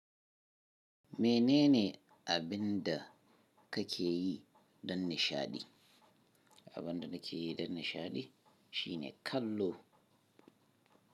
Menene abunda kake yi don nishadi? Abunda nake yi don nishadi shine kallo.